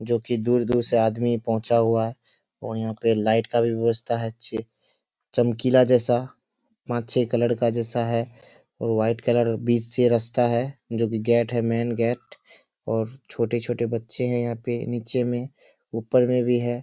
जो की दूर-दूर से आदमी पहुँचा हुआ है और यहाँ पे लाइट का भी व्यवस्था हैं अच्छी चमकीला जैसा पाँच छह कलर का जैसा है और वाइट कलर बीच से रस्ता है जो भी गेट है मैन गेट और छोटे-छोटे बच्चे हैं यहाँ पे नीचे में ऊपर में भी है।